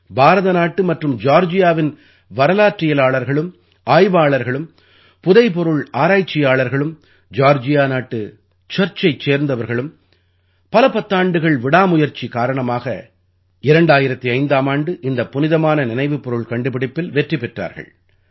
பாரத நாட்டு மற்றும் ஜார்ஜியாவின் வரலாற்றியலாளர்களும் ஆய்வாளர்களும் புதைபொருள் ஆராய்ச்சியாளர்களும் ஜார்ஜியா நாட்டு சர்ச்சைச் சேர்ந்தவர்களும் பல பத்தாண்டுகள் விடாமுயற்சி காரணமாக 2005ஆம் ஆண்டு இந்தப் புனிதமான நினைவுப் பொருள் கண்டுபிடிப்பில் வெற்றி பெற்றார்கள்